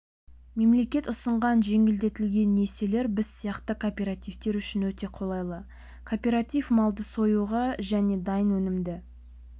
мемлекет ұсынған жеңілдетілген несиелер біз сияқты кооперативтер үшін өте қолайлы кооператив малды союға және дайын өнімді